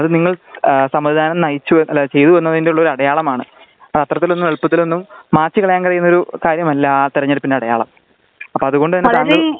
അത് നിങ്ങള് സമ്മതിദാനം നയിച്ചുഅല്ല ചെയ്തു എന്നതിന്റെ ഒരു അടയാളമാണ് അത് അത്തരത്തിലൊന്നും എളുപ്പമൊന്നും മായ്ച്ചു കളയാൻ കഴിയുന്ന കാര്യമല്ല ആ തിരഞ്ഞെടുപ്പിന്റെ അടയാളം അപ്പോ അത്കൊണ്ട്തന്നെ